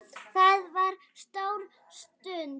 Það var stór stund.